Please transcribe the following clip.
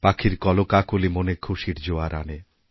পাখির কলকাকলি মনেখুশির জোয়ার আনে